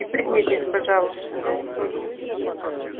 и пригнитесь пожалуйста